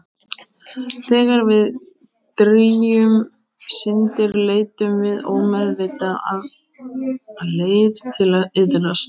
Þegar við drýgjum syndir leitum við ómeðvitað að leið til að iðrast.